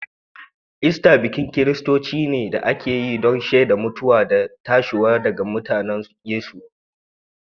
Ista bikin kiristanci ne da ake yi don a sheda mutuwa da tashiwa daga matatun Yesu.